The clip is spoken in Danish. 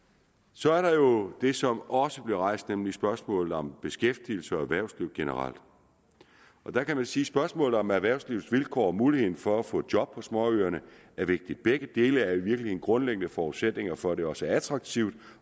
så er der jo det som også blev rejst nemlig spørgsmålet om beskæftigelse og erhvervsliv generelt der kan man sige at spørgsmålet om erhvervslivets vilkår og muligheden for at få job på småøerne er vigtigt begge dele er virkelig en grundlæggende forudsætning for at det også er attraktivt